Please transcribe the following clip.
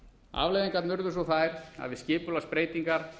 afleiðingarnar urðu svo þær að við skipulagsbreytingar